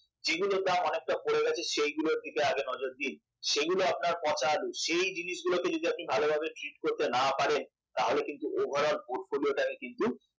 যে গুলোর দাম অনেকটা পড়ে গেছে সেই গুলোর দিকে আগে নজর দিন সেগুলো আপনার পচা আলু সেই জিনিসগুলোকে যদি আপনি ভালোভাবে treat করতে না পারেন তাহলে কিন্তু over all portfolio টাকে কিন্তু